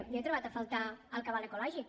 jo hi he trobat a faltar el cabal ecològic